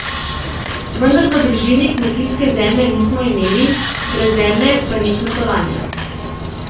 Vendar v družini kmetijske zemlje nismo imeli, brez zemlje pa ni kmetovanja.